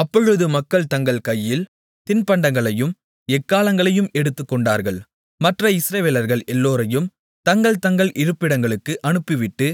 அப்பொழுது மக்கள் தங்கள் கையில் தின்பண்டங்களையும் எக்காளங்களையும் எடுத்துக்கொண்டார்கள் மற்ற இஸ்ரவேலர்கள் எல்லோரையும் தங்கள் தங்கள் இருப்பிடங்களுக்கு அனுப்பிவிட்டு